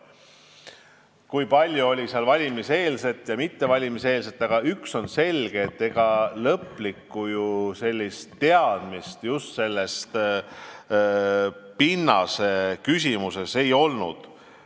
Ma ei tea, kui palju oli see otsus tingitud valimiseelsest ajast, aga üks on selge: ega lõplikku teadmist just selles pinnaseküsimuses ei olnud.